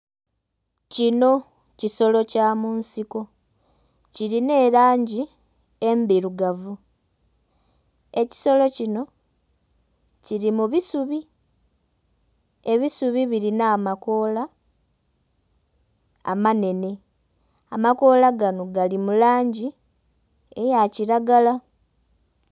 Kinho kisolo kya munsiko kirinha erangi endhirugavu ekisolo kinho kiri mu bisubi, ebisubi birinha amakoola amanenhe. Amakoola ganho gali mu langi eya kiragala.